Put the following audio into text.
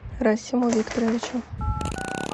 расиму викторовичу